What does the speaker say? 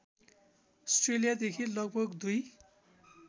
अस्ट्रेलियादेखि लगभग २